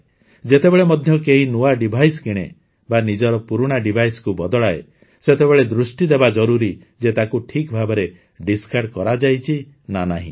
ଯେତେବେଳେ ମଧ୍ୟ କେହି ନୂଆ ଡିଭାଇସ କିଣେ ବା ନିଜର ପୁରୁଣା ଡିଭାଇସ୍କୁ ବଦଳାଏ ସେତେବେଳେ ଦୃଷ୍ଟି ଦେବା ଜରୁରୀ ଯେ ତାକୁ ଠିକ୍ଭାବେ ଡିସ୍କାର୍ଡ କରାଯାଇଛି ନା ନାହିଁ